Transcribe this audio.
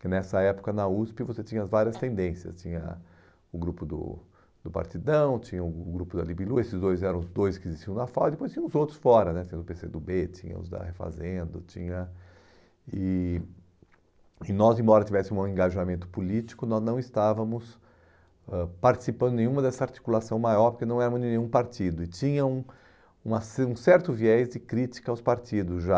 que nessa época na USP você tinha várias tendências, tinha o grupo do do Partidão, tinha o grupo da Libilu, esses dois eram os dois que existiam na FAU, e depois tinha os outros fora né, tinha o pê cê do bê, tinha os da Refazendo, tinha... e e nós, embora tivéssemos um engajamento político, nós não estávamos ãh participando nenhuma dessa articulação maior, porque não éramos nenhum partido, e tinha um uma cer um certo viés de crítica aos partidos já,